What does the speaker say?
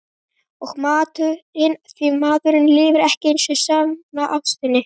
Og matinn því maðurinn lifir ekki á einni saman ástinni.